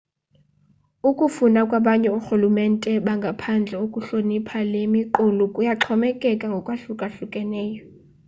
ukufuna kwabanye orhulumente bangaphandle ukuhlonipha le miqulu kuyaxhomekeka ngokokwahlukahlukana